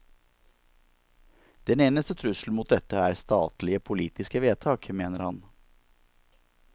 Den eneste trussel mot dette er statlige politiske vedtak, mener han.